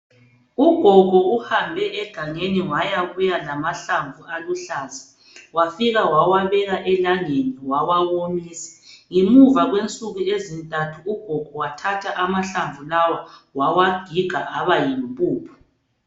Ugogo uhambe egangeni wayabuya lamahlamvu aluhlaza wawayachaya elangeni wawawomisa. Ngemuva kwensuku ezintathu ugogo wayathatha amahlamvu lawa wawagiga aba yimpuphu.